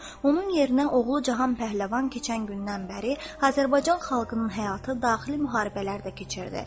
Onun yerinə oğlu Cahan Pəhləvan keçən gündən bəri Azərbaycan xalqının həyatı daxili müharibələrdə keçirdi.